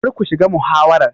Kar ku shiga muhawarar.